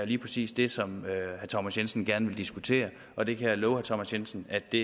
lige præcis det som herre thomas jensen gerne vil diskutere og det kan jeg love herre thomas jensen at vi